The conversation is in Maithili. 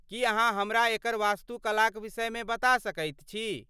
की अहाँ हमरा एकर वस्तुकलाक विषयमे बता सकैत छी?